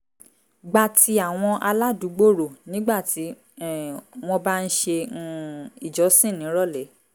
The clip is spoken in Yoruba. gba ti àwọn aládùúgbò rò nígbà tí um wọ́n bá ń ṣe um ìjọsìn nírọ̀lẹ́